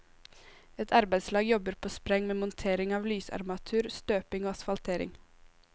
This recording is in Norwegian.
Et arbeidslag jobber på spreng med montering av lysarmatur, støping og asfaltering.